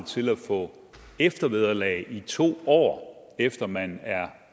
til at få eftervederlag i to år efter man er